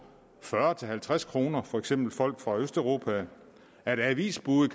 fyrre til halvtreds kroner for eksempel folk fra østeuropa og avisbude